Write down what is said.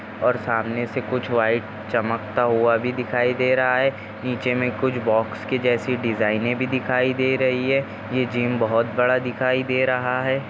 और सामने से कुछ व्हाइट चमकता हुआ भी दिखाई दे रहा है नीचे हुमे कुछ बॉक्स के जियासी डिजाइने भी दिखाई दे रही है ये जिम बहुत बड़ा दिखाई दे रहा है।